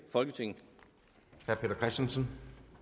dagsorden